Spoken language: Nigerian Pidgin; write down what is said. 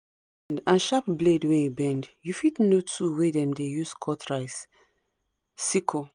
and sharp blade wey e bend u fit know tool wey dem dey use cut rice (sickle)